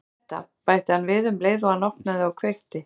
Hérna er þetta- bætti hann við um leið og hann opnaði og kveikti.